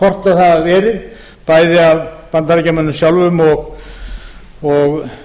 en kortlögð hafa verið bæði af bandaríkjamönnum sjálfum og